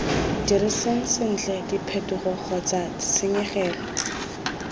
diriseng sentle diphetogo kgotsa ditshenyegelo